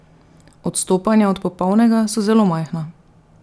Odstopanja od popolnega so zelo majhna.